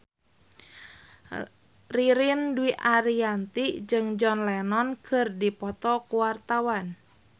Ririn Dwi Ariyanti jeung John Lennon keur dipoto ku wartawan